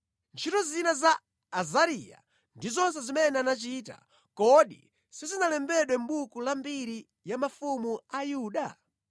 Ntchito zina za Azariya ndi zonse zimene anachita, kodi sizinalembedwe mʼbuku la mbiri ya mafumu a Yuda?